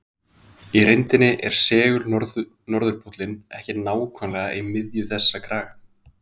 Í reyndinni er segul-norðurpóllinn ekki nákvæmlega í miðju þessa kraga.